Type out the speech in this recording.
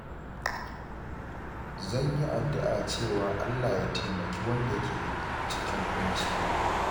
Zan yi addu’a cewa Allah Ya taimaki wanda ke cikin ƙunci.